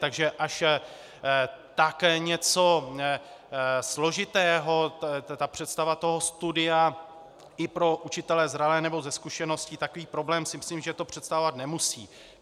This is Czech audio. Takže až tak něco složitého, ta představa toho studia i pro učitele zralé nebo se zkušeností, takový problém si myslím, že to představovat nemusí.